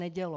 Nedělo.